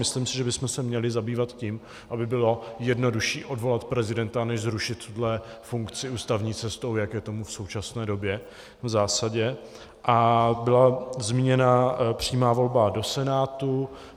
Myslím si, že bychom se měli zabývat tím, aby bylo jednodušší odvolat prezidenta než zrušit tuto funkci ústavní cestou, jak je tomu v současné době v zásadě, a byla zmíněna přímá volba do Senátu.